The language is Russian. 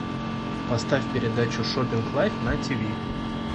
поставь передачу шопинг лайв на тиви